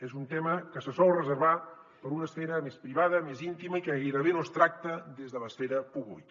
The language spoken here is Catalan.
és un tema que se sol reservar per una esfera més privada més íntima i que gairebé no es tracta des de l’esfera pública